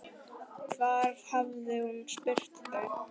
Hvar hafði hún spurt þau?